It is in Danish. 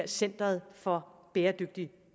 centeret for bæredygtig